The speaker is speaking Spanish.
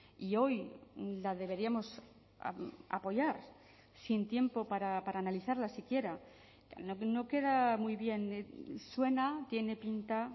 y hoy la deberíamos apoyar sin tiempo para analizarla siquiera no queda muy bien suena tiene pinta